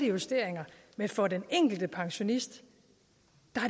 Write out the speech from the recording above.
justeringer men for den enkelte pensionist